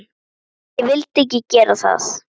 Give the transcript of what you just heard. Ég vildi ekki gera það.